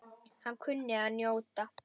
Hann kunni að njóta.